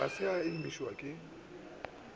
ga se a imišwa ke